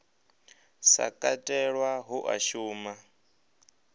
sa katelwa hu a shuma